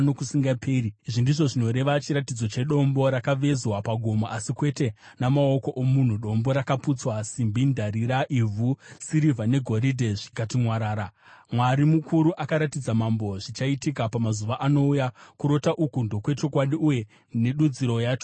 Izvi ndizvo zvinoreva chiratidzo chedombo rakavezwa pagomo, asi kwete namaoko omunhu, dombo rakaputsa simbi, ndarira, ivhu, sirivha negoridhe zvikati mwarara. “Mwari mukuru akaratidza mambo zvichaitika pamazuva anouya. Kurota uku ndokwechokwadi uye nedudziro yacho ndeyechokwadi.”